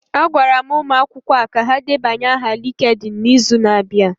A gwara ụmụ akwụkwọ a ka ha debanye aha LinkedIn n'izu na-abịa.